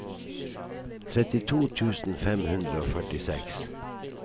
trettito tusen fem hundre og førtiseks